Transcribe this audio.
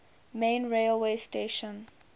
main railway station